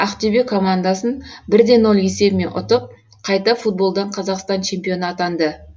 ақтөбе командасын бірде нөл есебімен ұтып қайта футболдан қазақстан чемпионы атаңды